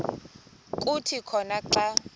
kuthi khona xa